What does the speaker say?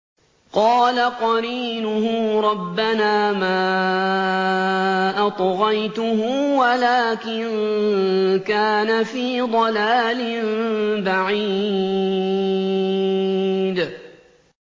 ۞ قَالَ قَرِينُهُ رَبَّنَا مَا أَطْغَيْتُهُ وَلَٰكِن كَانَ فِي ضَلَالٍ بَعِيدٍ